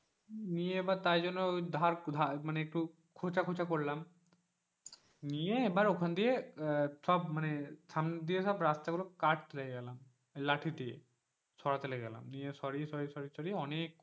নিয়ে এবার তাই জন্য ধারধার মানে একটু খোঁচা খোঁচা করলাম নিয়ে এবার ওখান থেকে সব রাস্তা গুলো কাটতে লেগে গেলাম লাঠি দিয়ে সরাতে লেগে গেলাম, দিয়ে সরিয়ে সরিয়ে অনেক,